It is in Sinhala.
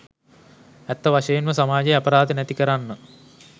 ඇත්ත වශයෙන්ම සමාජයේ අපරාධ නැති කරන්න